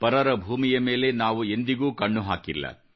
ಪರರ ಭೂಮಿಯ ಮೇಲೆ ಎಂದಿಗೂ ನಾವು ಕಣ್ಣು ಹಾಕಿಲ್ಲ